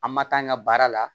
An ma k'an ka baara la